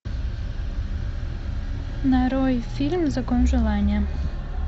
нарой фильм закон желания